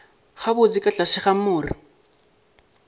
gabotse ka tlase ga more